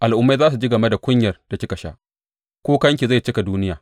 Al’ummai za su ji game da kunyar da kika sha; kukanki zai cika duniya.